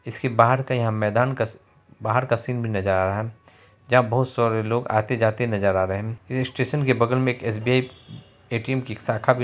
इसके बाहर का यहां मैदान का सी बाहर का सीन भी नजर आ रहा है यहाँ बहुत सारे लोग आते-जाते नजर आ रहे हैं ईस स्टेशन के बगल मे एक एस.बी.आई. ए.टी.एम. कि एक साखा भी--